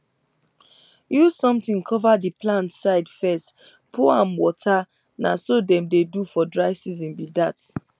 use something cover di plant side fess pour am water na so i dey do for dry season bi dat